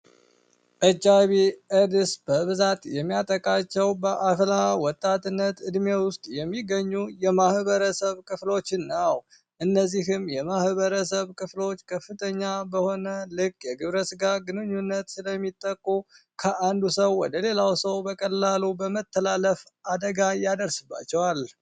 ኤች አይቪ ኤድስ በብዛት የሚያጠቃቸው ወጣትነት እድሜ ውስጥ የሚገኙ የማህበረሰብ ክፍሎችን እነዚህም የማህበረሰብ ክፍሎች ከፍተኛ በሆነ የግብረ ስጋ ግንኙነት ከአንድ ሰው ወደ ሌላው ሰው በቀላሉ በመተላለፍ አደጋ እያደርስባቸዋል።